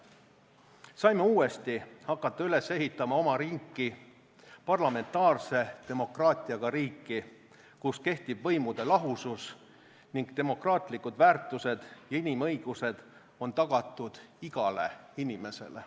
Saime uuesti hakata üles ehitama oma riiki, parlamentaarse demokraatiaga riiki, kus kehtib võimude lahusus ning demokraatlikud väärtused ja inimõigused on tagatud igale inimesele.